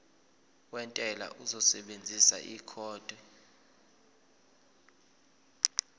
wentela uzosebenzisa ikhodi